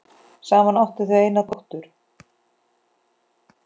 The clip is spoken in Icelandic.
Saman áttu þau eina dóttur.